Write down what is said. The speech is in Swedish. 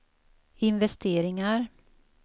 investeringar